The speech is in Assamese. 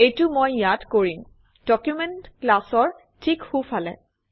এইটো মই ইয়াত কৰিম - ডকুমেণ্ট ক্লাছৰ ঠিক সোঁফালে